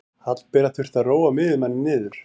Hallbera þurfti að róa miðjumanninn niður.